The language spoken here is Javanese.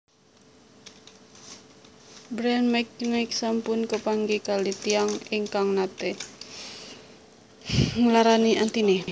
Bryan McKnight sampun kepanggih kalih tiyang ingkang nate nglarani atine